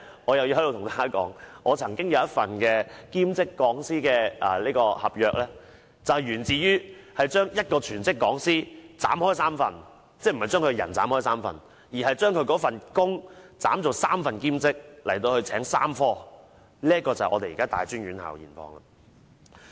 我又要在此跟大家說，我曾經有一份兼職講師的合約，源自將一個全職講師分為3份——不是把人分為3份，而是把那份工作分為3份，聘請3科兼職，這便是大專院校的現況。